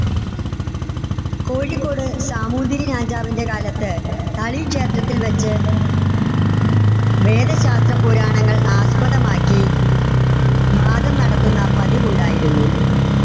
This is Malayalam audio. കോഴിക്കോട് സാമൂതിരി രാജാവിന്‍ടെ കാലത്ത് കാളി ക്ഷേത്രത്തിൽ വെച്ച് വേദശാസ്ത്രപുരാണങ്ങൾ ആസ്പദമാക്ക വാദം നടത്തുന്ന പതിവുണ്ടായിരുന്നു.